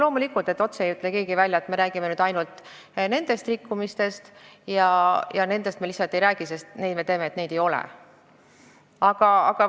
Loomulikult, keegi ei ütle otse välja, et me räägime ainult nendest rikkumistest ja nendest teistest me lihtsalt ei räägi, me teeme näo, et neid ei olegi.